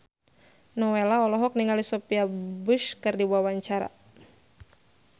Nowela olohok ningali Sophia Bush keur diwawancara